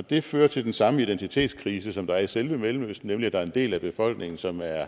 det fører til den samme identitetskrise som der er i selve mellemøsten nemlig at der er en del af befolkningen som er